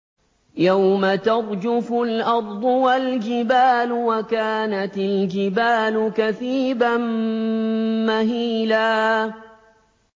يَوْمَ تَرْجُفُ الْأَرْضُ وَالْجِبَالُ وَكَانَتِ الْجِبَالُ كَثِيبًا مَّهِيلًا